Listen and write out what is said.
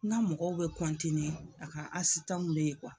N'a mɔgɔw be a ka be yen